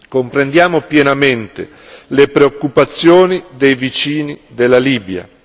Comprendiamo pienamente le preoccupazioni dei vicini della Libia.